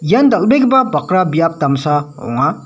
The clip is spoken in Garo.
ian dal·begipa bakra biap damsa ong·a.